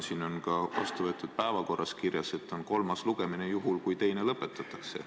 Siin vastuvõetud päevakorras on ka kirjas, et on selle eelnõu kolmas lugemine, juhul kui teine lõpetatakse.